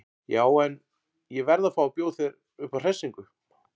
Já en. ég verð að fá að bjóða þér upp á hressingu!